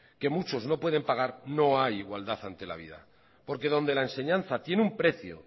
que muchos no pueden pagar no hay igualdad ante la vida porque donde la enseñanza tiene un precio